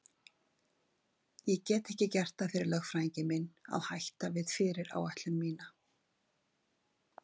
Ég gat ekki gert það fyrir lögfræðing minn að hætta við fyrirætlun mína.